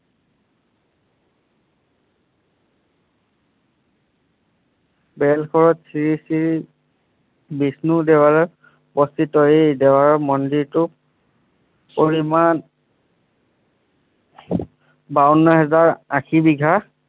শ্ৰী শ্ৰী বিষ্ণুদেৱৰ এই দেৱৰ মন্দিৰটো পৰিমাণ বাৱন্ন হেজাৰ আশী বিঘা